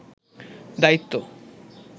দায়িত্ব